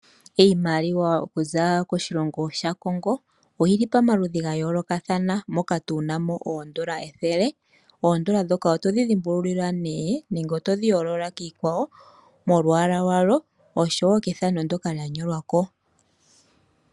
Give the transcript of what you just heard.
Iimaliwa okuza koshilongo sha Congo oyili pamaludhi ga yoolokathana moka tunamo oondola ethele, oondola dhoka otodhi dhimbululil' nee nenge otodhi yoolola kiikwawo molwaala lwalo oshowo kethano ndyoka lya nyolwa ko.